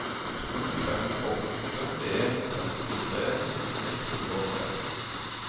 to fem åtte en trettitre ett hundre og tre